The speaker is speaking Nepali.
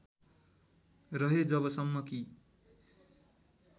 रहे जबसम्म कि